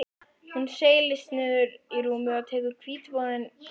Hún seilist niður í rúmið og tekur hvítvoðunginn traustum tökum.